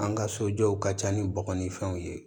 An ka sojɔw ka ca ni bɔgɔ ni fɛnw ye